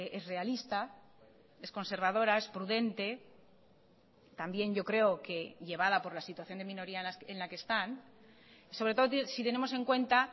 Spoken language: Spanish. es realista es conservadora es prudente también yo creo que llevada por la situación de minoría en la que están sobre todo si tenemos en cuenta